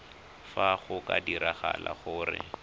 fa go ka diragala gore